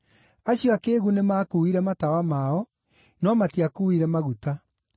Acio akĩĩgu nĩmakuuire matawa mao, no matiakuuire maguta.